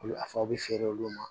Olu a fɔ a bɛ feere olu ma